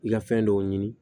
I ka fɛn dɔw ɲini